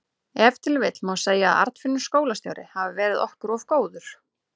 Ef til vill má segja að Arnfinnur skólastjóri hafi verið okkur of góður.